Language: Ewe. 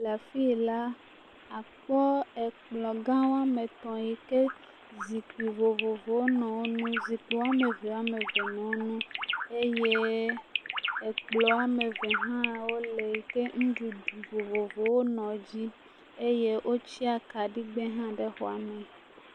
le afi la akpɔ ekplɔ gã woame etɔ̃ yi ke zikpui vovovovo nɔ eŋu, zikpui woame eve ame eve nɔ eŋu eye ekplɔ ame eve hã wole yi ke nuɖuɖu vovovowo nɔ edzi eye wotsia akaɖigbe hã ɖe exɔa me.